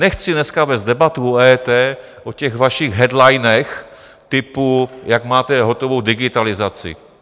Nechci dneska vést debatu o EET, o těch vašich headlinech typu, jak máte hotovou digitalizaci.